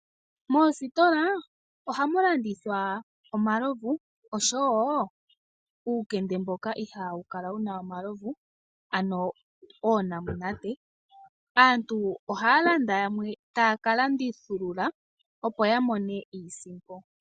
Moositola ohamu landithwa omalovu oshowo uukende mboka ihaa wu kala wuna omalovu ano oonamunate. Aantu ohaa landa yamwe taakalandithulula opo yamone iisimpo.